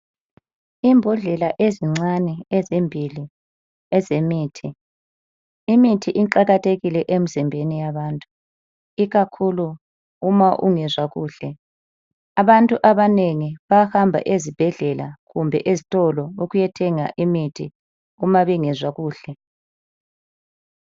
Imbodlela ezincane ezimbili ezemithi. Imithi iqakathekile kakhulu emizimbeni yabantu ikakhulu uma ungezwa kuhle. Abantu abanengi bayahamba ezibhedlela loba ezitolo uma bengezwa kuhle.